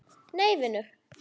Nei vinur.